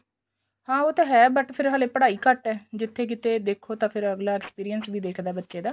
ਹਾਂ ਉਹ ਤਾਂ ਹੈ but ਫੇਰ ਹਲੇ ਪੜ੍ਹਾਈ ਘੱਟ ਏ ਜਿੱਥੇ ਕਿੱਥੇ ਦੇਖੋ ਤਾਂ ਅਗਲਾ experience ਵੀ ਦੇਖਦਾ ਬੱਚੇ ਦਾ